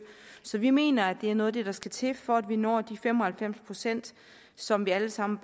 så vi mener at det er noget af det der skal til for at vi når de fem og halvfems procent som vi alle sammen